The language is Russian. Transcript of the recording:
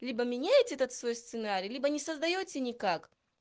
либо меняйте этот свой сценарий либо не создаётся никак